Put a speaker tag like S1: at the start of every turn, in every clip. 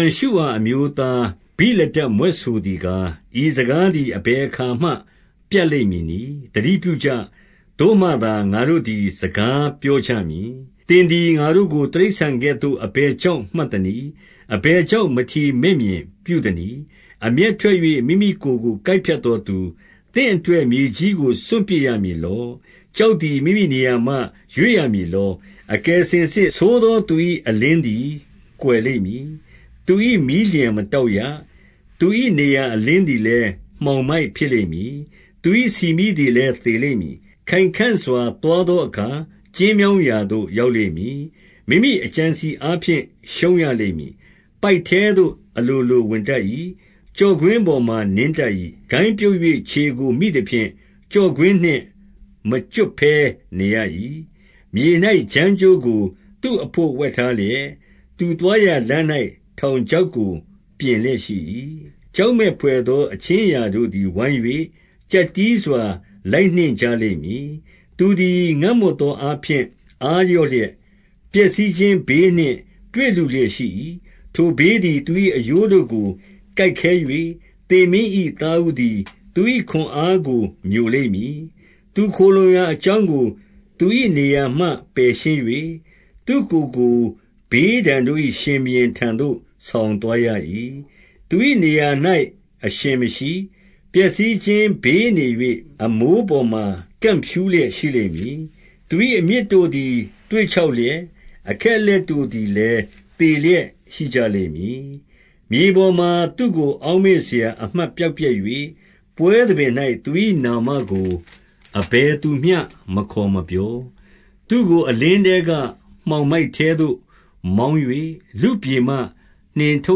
S1: န်ရှုအာအမျိုးသား ဗိလဒဒ်မြွက်ဆိုသည် ကား၊ ဤစကားသည် အဘယ်အခါမှ ပြတ်လိမ့်မည် နည်း။ သတိပြုကြ။ သို့မှသာငါတို့သည် စကားပြောကြ မည်။ သင်သည်ငါတို့ကို တိရစ္ဆာန်ကဲ့သို့ အဘယ်ကြောင့် မှတ်သနည်း။ အဘယ်ကြောင့် မထီမဲ့မြင်ပြု သနည်း။ အမျက်ထွက်၍ မိမိကိုယ်ကို ကိုက်ဖြတ်သောသူ၊ သင့်အတွက် မြေကြီးကိုစွန့်ပစ်ရမည်လော။ ကျောက်သည် မိမိနေရာမှ ရွေ့ရမည်လော။ အကယ်စင်စစ်ဆိုးသောသူ၏ အလင်းသည် ကွယ်လိမ့်မည်။ သူ၏မီးလျှံမတောက်ရ။ သူ၏နေရာအလင်းလည်း မှောင်မိုက်ဖြစ်လိမ့် မည်။ သူ၏ဆီမီးလည်း သေလိမ့်မည်။ ခိုင်ခံ့စွာသွားသောအခါ ကျဉ်းမြောင်းရာသို့ ရောက်လိမ့်မည်။ မိမိအကြံအစည်အားဖြင့် ရှုံးရလိမ့်မည်။ ပိုက်ထဲသို့ အလိုလိုဝင်တတ်၏။ ကျော့ကွင်းပေါ်မှာ နင်းတတ်၏။ ဂိုင်းပြုတ်၍ ခြေကို မိသဖြင့် ကျော့ကွင်းနှင့် မကျွတ်နိုင်ဘဲ နေရ၏။ မြေ၌ဂျမ်းကြိုးကို သူ့အဘို့ ဝှက်ထားလျက်၊ သူသွားရာလမ်း၌ ထောင်ချောက်ကို ပြင်လျက်ရှိ၏။ ကြောက်မက်ဘွယ်သော အခြင်းအရာတို့သည် ဝိုင်း၍ ကျပ်တည်းစွာ လိုက်နှင့်ကြလိမ့်မည်။ သူသည် ငတ်မွတ်သောအားဖြင့် အားလျော့လျက်၊ ပျက်စီးခြင်း ဘေးနှင့် တွေ့လုလျက်ရှိ၏။ ထိုဘေးသည် သူ၏အရိုးတို့ကို ကိုက်ခဲ၍၊ သေမင်း၏သားဦးသည် သူ၏ခွန်အားကို မျိုလိမ့်မည်။ သူခိုလှုံရာအကြောင်းကို သူ၏နေရာမှ ပယ်ရှင်း၍၊ သူ့ကိုယ်ကို ဘေးဒဏ်တို့၏ ရှင်ဘုရင်ထံသို့ ဆောင် သွားရ၏။ သူ၏နေရာ၌ အရှင်မရှိ။ ပျက်စီးခြင်းဘေးနေ၍ အမိုးပေါ်မှာ ကန့်ဖြူးလျက်ရှိလိမ့်မည်။ သူ၏အမြစ်တို့သည် သွေ့ခြောက်လျက်၊ အခက်အလက်တို့လည်း သေလျက်ရှိကြလိမ့်မည်။ မြေပေါ်မှာသူ့ကို အောက်မေ့စရာအမှတ် ပျောက်ပျက်၍၊ ပွဲသဘင်၌ သူ၏နာမကို အဘယ်သူမျှ မခေါ်မပြော။ သူ့ကိုအလင်းထဲက မှောင်မိုက်ထဲသို့ မောင်း၍ လူ့ပြည်မှ နှင်ထု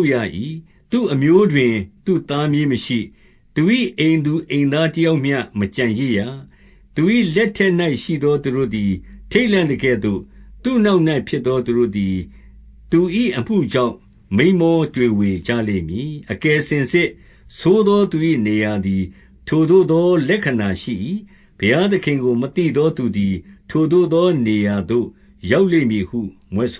S1: တ်ရ၏။ သူ့အမျိုးတွင် သူ့သားမြေးမရှိ။ သူ၏အိမ်သူ အိမ်သားတယောက်မျှ မကျန်ရစ်ရ။ သူ၏လက်ထက်၌ရှိသော သူတို့သည် ထိတ်လန့်သကဲ့သို့၊ သူ့နောက်၌ဖြစ်သော သူတို့သည် သူ၏အမှု ကြောင့် မိန်းမောတွေဝေကြလိမ့်မည်။ အကယ်စင်စစ်ဆိုးသော သူ၏နေရာသည် ထိုသို့သော လက္ခဏာရှိ၏။ ဘုရားသခင်ကိုမသိသောသူ သည် ထိုသို့သော နေရာသို့ ရောက်လိမ့်မည်ဟု မြွက်ဆ